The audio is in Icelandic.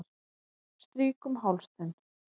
Strýk um háls þinn.